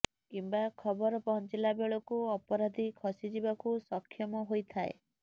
କିମ୍ବା ଖବର ପହଞ୍ଚିଲା ବେଳକୁ ଅପରାଧୀ ଖସିଯିବାକୁ ସକ୍ଷମ ହୋଇଥାଏ